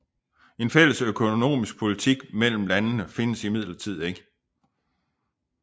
En fælles økonomisk politik imellem landene findes imidlertid ikke